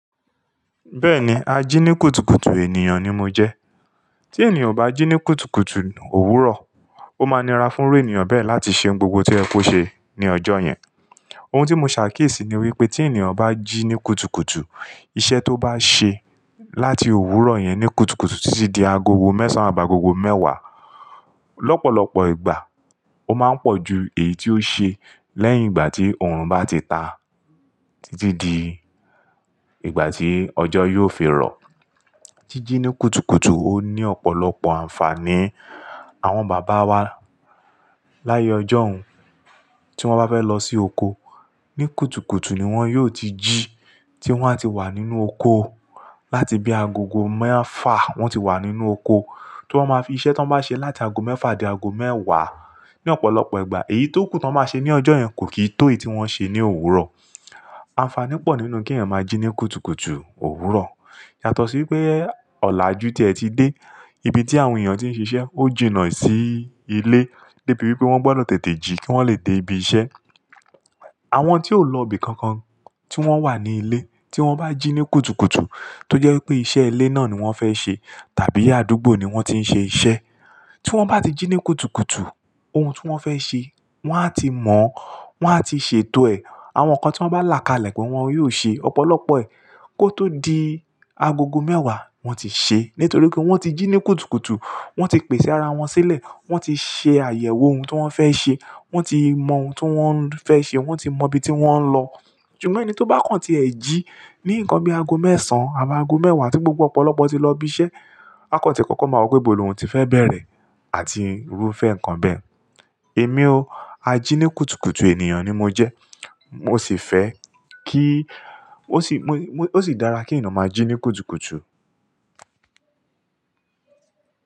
Bẹ́ẹ̀ni, ajínikútukùtù ènìyàn ni mo jẹ́. Tí ènìyàn o bá jí ní kúkútù òwúrọ̀, ó máa nira fún irú ènìyàn bẹ́ẹ̀ láti ṣe ohun gbogbo tí ó yẹ kó ṣẹ ní ọjọ́ yẹn. Ohun tí mo ṣàkíyèsí ni wípé tí ènìyàn bá jí ní kúkútù, iṣẹ́ tó bá ṣe láti òwúrọ̀ yẹn ní kúkútù títí di agogo mẹ́sàn án àbá agogo mẹ́wàá, lọ́pọ̀lọpọ̀ ìgbà ó máa ń pọ̀ ju èyí tí ó ṣe lẹ́yìn ìgbà tí òòrùn bá ti ta títí di ìgbà tí ọjọ́ yóò fi rọ̀. Jíjí ní kúkútù ó ní ọ̀pọ̀lọpọ̀ àǹfààní. Àwọn bàbá wa láyé ọjọ́un tí wọ́n bá fẹ́ lọ sí oko, ní kúkútù ni wọ́n yóò ti jí tí wọ́n á ti wà nínú oko láti bí agogo mẹ́fà wọ́n ti wà nínú oko. Tí wọ́n ma fi iṣẹ́ tí wọ́n bá ṣe láti ago mẹ́fà di ago mẹ́wàá, ní ọ̀pọ̀lọpọ̀ ìgbà èyí tó kù tán máa ṣe ní ọjọ́ yẹn kò kí tó èyí tí wọ́n ṣe ní òwúrọ̀. Àǹfààní pọ̀ nínú kí èèyàn máa jí ní kúkútù òwúrọ̀. Yàtọ̀ sí wípé ọ̀làjú tí ẹ ti dé ibi tí àwọn ènìyàn tí ń ṣiṣẹ́ ó jìnnà sí ilé débi wípé wọ́n gbọ́dọ̀ tètè jí kí wọ́n le dé ibi iṣẹ́. Àwọn tí ò lọ ibi kankan tí wọ́n wà ní ilé tí wọ́n bá jí ní kúkútù tó jẹ́ wípé iṣẹ́ ilé náà ni wọ́n fẹ́ ṣe tàbí àdúgbò ni wọ́n ti ń ṣe iṣẹ́ tí wọ́n bá ti jí ní kúkútù ohun tí wọ́n fẹ́ ṣe wọ́n á ti mọ̀, wọ́n á ti ṣètò ẹ̀. Àwọn nǹkan tí wọ́n bá là ká lẹ̀ pẹ́ wọ́n yóò ṣe ọ̀pọ̀lọpọ̀ ẹ̀ kó tó di agogo mẹ́wàá wọ́n ti ṣe. Nítorí pé wọ́n ti jí ní kúkútù, wọ́n ti pèsé ara wọn sílẹ̀, wọ́n ti ṣe àyẹ̀wò ohun tí wọ́n fẹ́ ṣe, wọ́n ti mọ ohun tí wọ́n fẹ́ ṣe, wọ́n ti mọ ibi tí wọ́n ń lọ. Ṣùgbọ́n ẹni tó bá kàn tí ẹ jí ní nǹkan bí i ago mẹ́sàn àbí ago mẹ́wàá tí gbogbo ọ̀pọ̀lọpọ̀ ti lọ ibi iṣẹ́, akọ̀tí kọ́kọ́ máa wọ pé ibo ni ohun ti fẹ́ bẹ̀rẹ̀ àti irúfẹ́ nǹkan bẹ́ẹ̀. Èmi o, ajínikútukùtù ènìyàn ni mo jẹ́. Mo sì fẹ́ kí-- ó sì dára kí ènìyàn máa jí ní kúkútù.